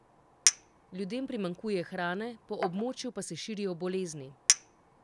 Ljudem primanjkuje hrane, po območju pa se širijo bolezni.